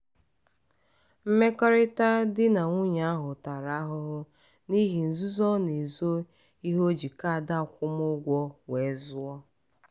mmekọrịta di na nwunye ahụ tara ahụhụ n'ihi nzuzo ọ na-ezo ihe o ji kaadị akwụmụgwọ wee zụọ.